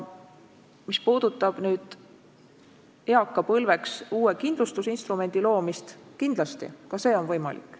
Mis puudutab eakapõlveks uue kindlustusinstrumendi loomist, siis kindlasti ka see on võimalik.